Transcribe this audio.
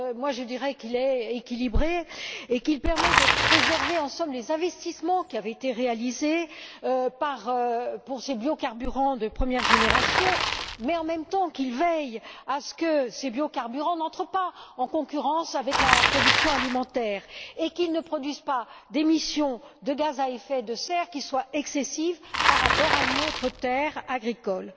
Je dirais, moi, qu'il est équilibré et qu'il permet de préserver, en somme, les investissements réalisés dans ces biocarburants de première génération, mais, en même temps, qu'il veille à ce que ces biocarburants n'entrent pas en concurrence avec la production alimentaire et qu'ils ne produisent pas d'émissions de gaz à effet de serre qui soient excessives par rapport à une autre terre agricole.